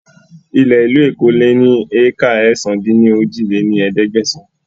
Ilẹ̀ ìlú Èkó lè ní éékà ẹ̀sán-dín-ní-ojì lé ní ẹ̀ẹ́dẹ́gbẹ́sán